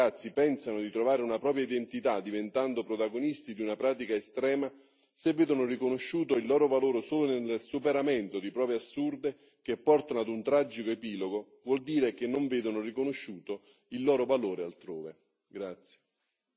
Perché se decine di ragazzi pensano di trovare una propria identità diventando protagonisti di una pratica estrema, se vedono riconosciuto il loro valore solo nel superamento di prove assurde che portano ad un tragico epilogo, vuol dire che non vedono riconosciuto il loro valore altrove.